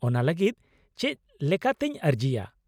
-ᱚᱱᱟ ᱞᱟᱹᱜᱤᱫ ᱪᱮᱫ ᱞᱮᱠᱟᱛᱤᱧ ᱟᱹᱨᱡᱤᱭᱟ ?